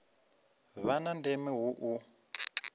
vha na ndeme hu u